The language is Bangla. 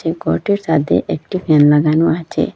ঘরটির সাদে একটি ফ্যান লাগানো আছে।